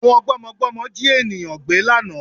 Àwọn gbọ́mọgbọ́mọ Jí ènìyàngbé lánàá